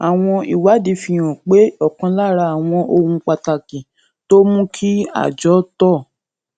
àwọn ìwádìí fi hàn pé òkan lára àwọn ohun pàtàkì tó ń mú kí àjọ tó